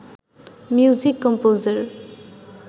music composer